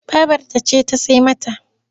Babarta ce ta sai mata.